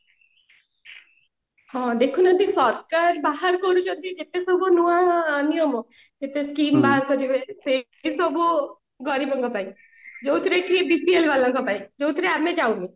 ହଁ ଦେଖୁନାହାନ୍ତି ସରକାର ବାହାର କରୁଛନ୍ତି ଯେତେ ସବୁ ନୂଆ ନିୟମ ଯେତେ scheme ବାହାର କରିବେ ଯେତେ ସବୁ ଗରିବଙ୍କ ପାଇଁ ଯୋଉଥିରେ କି BPL ବାଲାଙ୍କ ପାଇଁ ଯୋଉଥିରେ ଆମେ ଯାଉନୁ